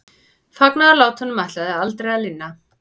Fagnaðarlátunum ætlaði aldrei að linna.